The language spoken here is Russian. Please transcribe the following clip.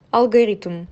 алгоритм